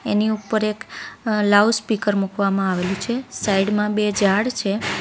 એની ઉપર એક અ લાઉઝ સ્પીકર મુકવામાં આવેલું છે સાઈડમાં બે ઝાડ છે.